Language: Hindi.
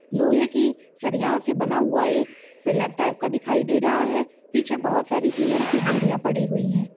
लोहे की सरियाओ से बना हुआ एक पिलर टाइप का दिखाई दे रहा है पीछे बहुत सारी सिमेन्ट की बोरिया पड़ी हुई है ।